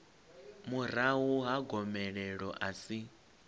murahu ha gomelelo a si